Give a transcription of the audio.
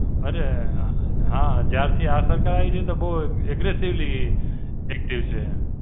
અરે હાં, જ્યારથી આશા કરાઈ છે તો બહું Aggressively active છે.